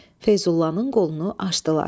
Feyzullanın qolunu açdılar.